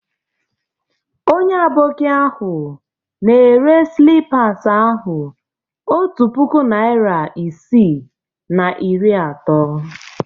Onye Aboki ahụ na-ere slippas ahụ otu puku naịra isii na iri atọ.